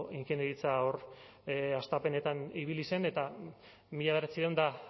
ingeniaritza hor hastapenetan ibili zen eta mila bederatziehun eta